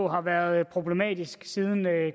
har været problematisk siden